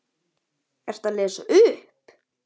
Ertu að lesa upp?